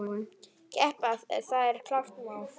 Keppa, það er klárt mál.